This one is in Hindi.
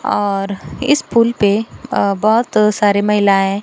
और इस पुल पे अ बहोत सारी महिलाएं--